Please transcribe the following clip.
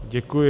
Děkuji.